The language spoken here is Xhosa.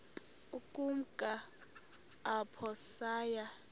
ukumka apho saya